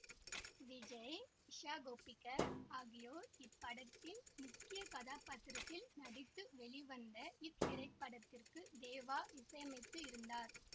விஜய் இஷா கோப்பிகர் ஆகியோர் இப்படத்தில் முக்கிய கதாபாத்திரத்தில் நடித்து வெளிவந்த இத்திரைப்படத்திற்கு தேவா இசையமைத்து இருந்தார்